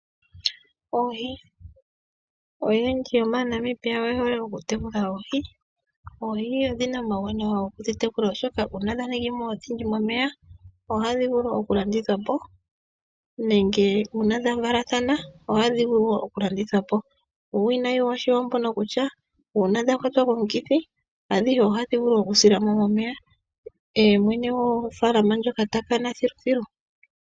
Oohi, oyendji yomaNamibia oye hole oku tekula oohi. Oohi odhina omawuwanawa oku tekula oshoka una dha ningi mo odhindji momeya ohadhi vulu oku landithwa po nenge una dha valathana ohadhi vulu wo oku landithwa po. Uuwinayi woohi ombono kutya una dhakwatwa komukithi adhihe ohadhi vulu oku sila mo momeya mwene gofalama ndjono ta kana thilu thilu.